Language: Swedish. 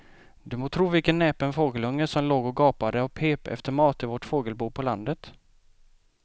Du må tro vilken näpen fågelunge som låg och gapade och pep efter mat i vårt fågelbo på landet.